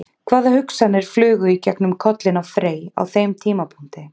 Hvaða hugsanir flugu í gegnum kollinn á Frey á þeim tímapunkti?